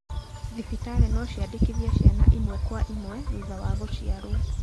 Thibitarĩ no ciandĩkithie ciana ĩmwe kwa ĩmwe thutha wa gũciarwo.